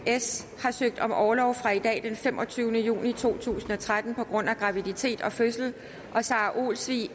har søgt om orlov fra i dag den femogtyvende juni to tusind og tretten på grund af graviditet og fødsel og sara olsvig